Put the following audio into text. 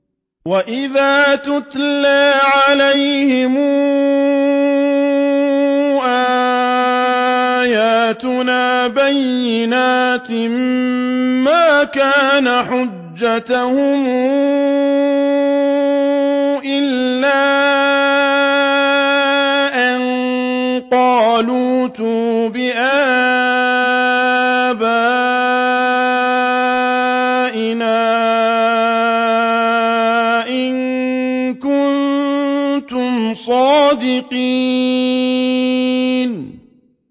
وَإِذَا تُتْلَىٰ عَلَيْهِمْ آيَاتُنَا بَيِّنَاتٍ مَّا كَانَ حُجَّتَهُمْ إِلَّا أَن قَالُوا ائْتُوا بِآبَائِنَا إِن كُنتُمْ صَادِقِينَ